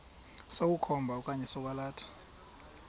sokukhomba okanye sokwalatha